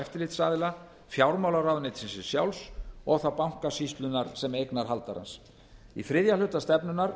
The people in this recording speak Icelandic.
eftirlitsaðila fjármálaráðuneytisins sjálfs og þá bankasýslunnar sem eignarhaldarans í þriðja hluta stefnunnar